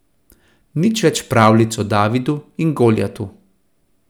Nič več pravljic o Davidu in Goljatu.